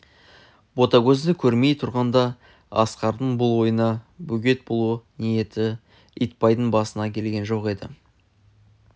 ботагөзді көрмей тұрғанда асқардың бұл ойына бөгет болу ниеті итбайдың басына келген жоқ еді